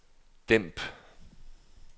dæmp